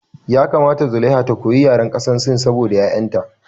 Ya kamata zulaiha ta koyi yaren ƙasar sin saboda ƴaƴan ta